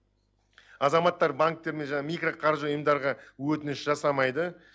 азаматтар банктер мен жаңағы микроқаржы ұйымдарға өтініш жасамайды